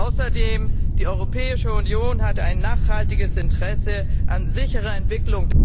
Außerdem hat die Europäische Union ein nachhaltiges Interesse an sicherer Entwicklung